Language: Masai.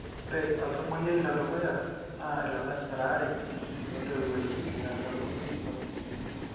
ore oltamoyiai le dukuya naa ilalashera aare ootiwuoki eeta ilukuny sapukin.